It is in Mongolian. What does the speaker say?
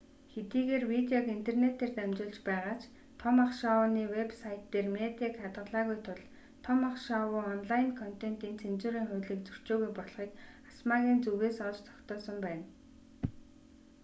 хэдийгээр видеог интернэтээр дамжуулж байгаа ч том ах шоуны вэб сайт дээр медиаг хадгалаагүй тул том ах шоу онлайн контентын цензурын хуулийг зөрчөөгүй болохыг асма-ийн зүгээс олж тогтоосон байна